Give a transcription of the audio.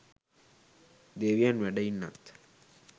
දෙවියන් වැඩ ඉන්නත්